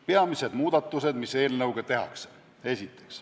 Peamised muudatused, mis eelnõuga tehakse.